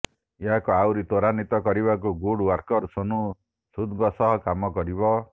ଏହାକୁ ଆହୁରି ତ୍ୱରାନ୍ୱିତ କରିବାକୁ ଗୁଡ ଓ୍ୱାର୍କର ସୋନୁ ସୁଦଙ୍କ ସହ କାମ କରିବ